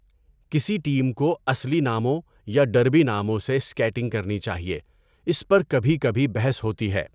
کسی ٹیم کو اصلی ناموں یا ڈربی ناموں سے اسکیٹنگ کرنی چاہئے، اس پر کبھی کبھی بحث ہوتی ہے۔